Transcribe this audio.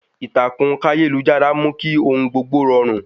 Ìtàkùn káyélujára mú kí ohun gbogbo rọrùn